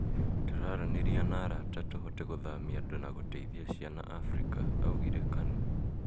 "Tũraraniria na arata tũhote kũthamia andũ na gũteithia ciana Afrika",augire Kanu